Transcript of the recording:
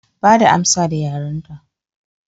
Bada amsa da yarenta